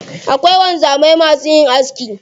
Akwai wanzamai masu yin aski.